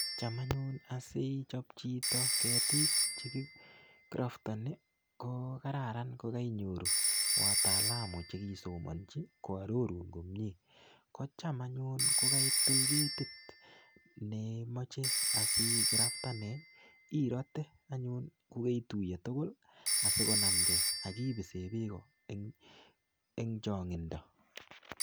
Cham anyun asichop chito ketik chekigraftani, ko kararan kokainyoru wataalamu chekisomanchi, koarorun komyee. Kocham anyun kokaitil ketit neimache asi graftane, irate anyun ku kaituye tugul, asikonamkei. Akibise beek eng eng chang'indo.